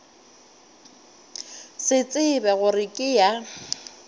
se tsebe gore ke ya